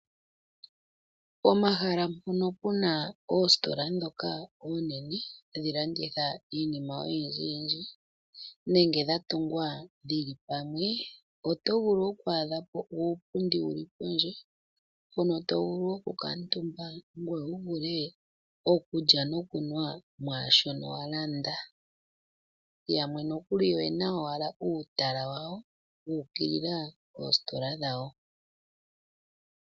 Pomahala mpono pu na oositola ndhoka oonene hadhi landitha iinima oyindjiyindji, nenge dha tungwa dhi li pamwe oto vulu oku adha po uupundi wu li pondje mpono to vulu okukuutumba, ngoye wu vule okulya nokunwa mwaa shono wa landa. Yamwe noku li oye na owala uutala wawo wu ukilila oositola dhawo.